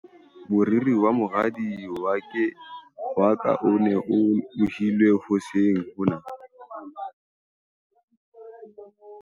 moriri wa moradi wa ka o ne o lohilwe hoseng hona